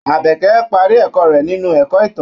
Àbẹ̀kẹ́ parí ẹ̀kọ́ rẹ̀ nínú ẹ̀kọ́ ìtàn.